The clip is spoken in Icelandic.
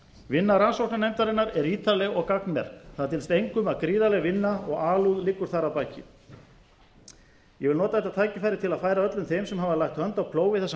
vinna rannsóknarnefndarinnar er ítarleg og gagnmerk það dylst engum að gríðarleg vinna og alúð liggur þar að baki ég vil nota þetta tækifæri til að færa öllum þeim sem hafa lagt hönd á plóg við þessa